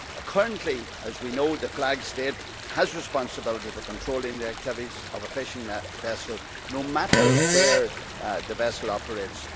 Currently, as we know, the flag state has responsibility for controlling the activities of a fishing vessel, no matter where the vessel operates.